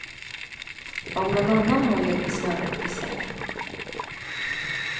Om någon annan håller i snöret, vill säga.